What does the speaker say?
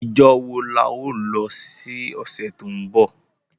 Ijo wo la o lo si ọ̀sẹ̀ to nbọ?